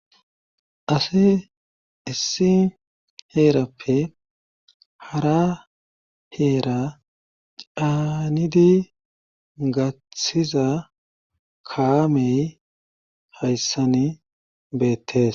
ase issi heerappe hara heera caanidi gathththiza kaamey hayssani beettes